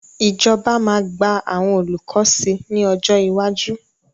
Ìjọba máa gba àwọn olùkọ́ sí ní ọjọ́ iwájú.